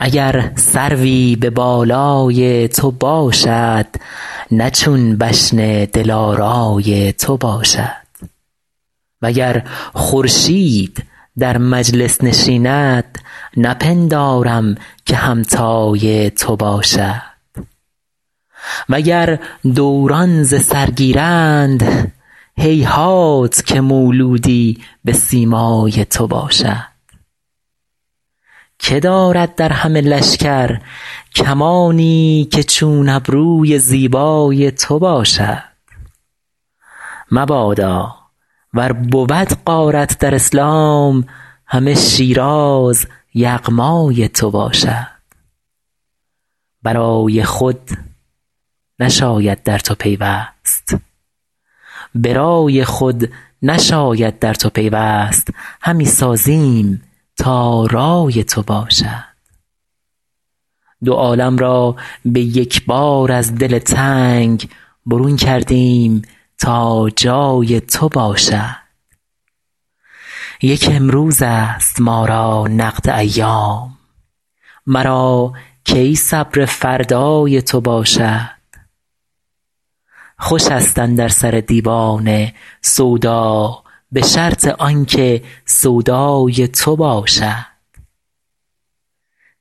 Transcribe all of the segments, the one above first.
اگر سروی به بالای تو باشد نه چون بشن دلارای تو باشد و گر خورشید در مجلس نشیند نپندارم که همتای تو باشد و گر دوران ز سر گیرند هیهات که مولودی به سیمای تو باشد که دارد در همه لشکر کمانی که چون ابروی زیبای تو باشد مبادا ور بود غارت در اسلام همه شیراز یغمای تو باشد به رای خود نشاید در تو پیوست همی سازیم تا رای تو باشد دو عالم را به یک بار از دل تنگ برون کردیم تا جای تو باشد یک امروزست ما را نقد ایام مرا کی صبر فردای تو باشد خوشست اندر سر دیوانه سودا به شرط آن که سودای تو باشد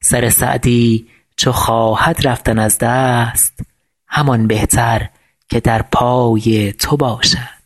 سر سعدی چو خواهد رفتن از دست همان بهتر که در پای تو باشد